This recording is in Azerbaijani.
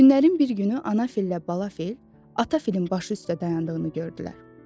Günlərin bir günü ana fillə bala fil ata filin başı üstə dayandığını gördülər.